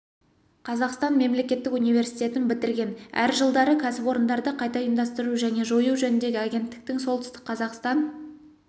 қазақстан мемлекеттік университетін бітірген әр жылдары кәсіпорындарды қайта ұйымдастыру және жою жөніндегі агенттіктің солтүстік қазақстан